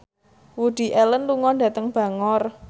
Woody Allen lunga dhateng Bangor